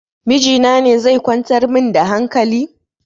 Miji na ne zai kwantar min da hankali?